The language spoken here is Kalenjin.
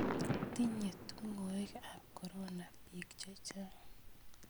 Tinye tung'wek ap korona piik che chang'